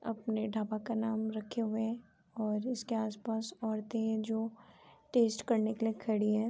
अपने ढाबा का नाम रखे हुए हैं और इसके आस-पास औरतें हैं जो टेस्ट करने के लिए खड़ी हैं।